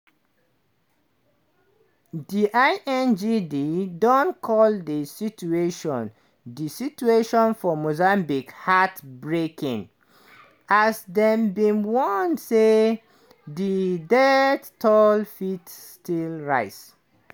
di ingd don call di situation di situation for mozambique "heart-breaking" as dem bin warn say di death toll fit still rise.